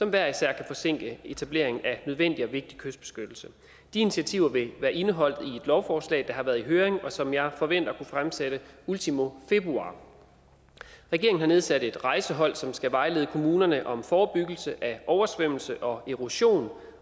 hver især kan forsinke etableringen af nødvendig og vigtig kystbeskyttelse de initiativer vil være indeholdt i et lovforslag der har været i høring og som jeg forventer at kunne fremsætte ultimo februar regeringen har nedsat et rejsehold som skal vejlede kommunerne om forebyggelse af oversvømmelser og erosion